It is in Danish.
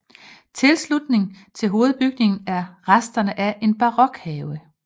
I tilslutning til hovedbygningen er resterne af en barokhave